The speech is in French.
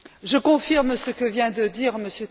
Je confirme ce que vient de dire M.